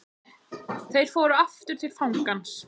Þeir fóru aftur til fangans.